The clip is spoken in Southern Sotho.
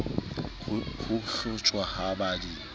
ho hlotjhwa ha ba di